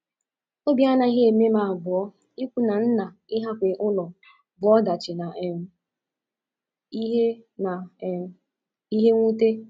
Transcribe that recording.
Obi anaghị eme m abụọ ikwu na nna ịhapụ ụlọ bụ ọdachi na um ihe na um ihe mwute.